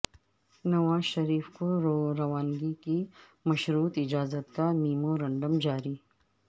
نواز شریف کو روانگی کی مشروط اجازت کا میمورنڈم جاری